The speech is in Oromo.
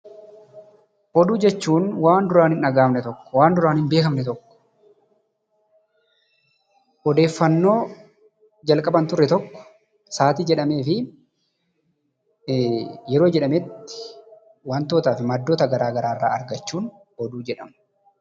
Oduu jechuun waan duraan hin dhaga'amne tokko waan duraan hin beekamne tokko, odeeffannoo jalqaba hin turre tokko saatii jedhamee fi yeroo jedhametti wantootaa fi maddoota garaa garaa irraa argachuun oduu jedhama.